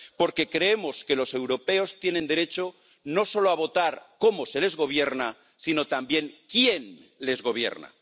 porque creemos que los europeos tienen derecho no solo a votar cómo se les gobierna, sino también quién les gobierna.